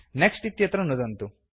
next इत्यत्र नुदन्तु